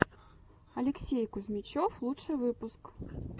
алексей кузьмичев лучший выпуск